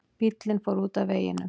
Bíllinn fór út af veginum